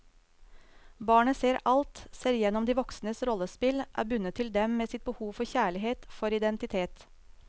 Barnet ser alt, ser igjennom de voksnes rollespill, er bundet til dem med sitt behov for kjærlighet, for identitet.